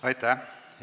Aitäh!